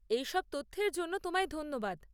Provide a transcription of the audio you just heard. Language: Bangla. এই সব তথ্যের জন্য তোমায় ধন্যবাদ।